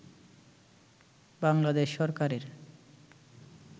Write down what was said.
বাংলাদেশ সরকারের